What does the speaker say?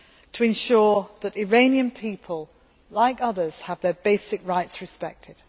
to ensure that the Iranian people, like others, have their basic rights respected.